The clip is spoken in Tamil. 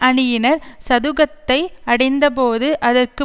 அணியினர் சதுக்கத்தை அடைந்தபோது அதற்கு